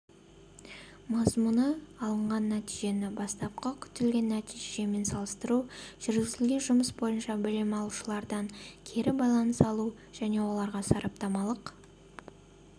мазмұны алынған нәтижені бастапқы күтілген нәтижемен салыстыру жүргізілген жұмыс бойынша білім алушылардан кері байланыс алу және оларға сараптамалық